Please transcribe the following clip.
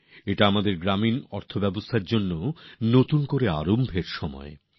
এটা আমাদের গ্রামীন অর্থব্যবস্থার জন্যও এক নতুন সূচনার সময় বটে